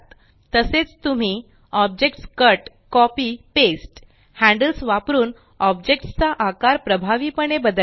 तसेच तुम्ही objects cut copy paste handles वापरून ऑब्जेक्ट्स चा आकार प्रभावीपणे बदलणे